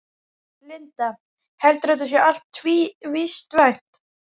Linda: Heldurðu að þetta sé allt vistvænt?